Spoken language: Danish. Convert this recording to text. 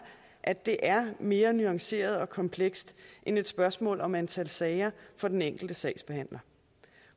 at det er mere nuanceret og komplekst end et spørgsmål om antal sager for den enkelte sagsbehandler